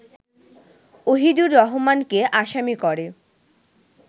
ওহিদুর রহমানকে আসামি করে